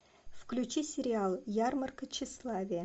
включи сериал ярмарка тщеславия